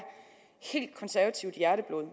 konservativt hjerteblod